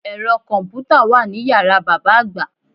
Ẹ̀rọ kọ̀mpùtà wà ní yàrá bàbá àgbà